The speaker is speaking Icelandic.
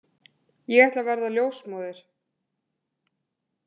Ég ætla að verða ljósmóðir.